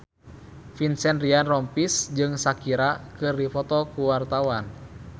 Vincent Ryan Rompies jeung Shakira keur dipoto ku wartawan